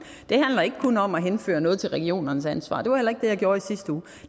handler ikke kun om at henføre noget til regionernes ansvar det var heller ikke det jeg gjorde i sidste uge